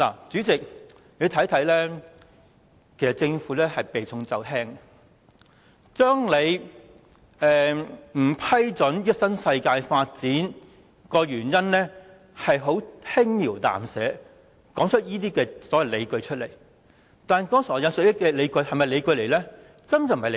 主席，你可以看到，其實政府是避重就輕，把不批准新世界這項申請的原因輕描淡寫，向公眾提出這些所謂的理據。